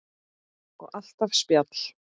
Og alltaf spjall.